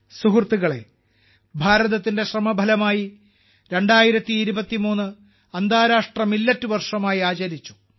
സുഹൃത്തുക്കളേ ഭാരതത്തിന്റെ ശ്രമഫലമായി 2023 അന്താരാഷ്ട്ര മില്ലറ്റ് വർഷമായി ആചരിച്ചു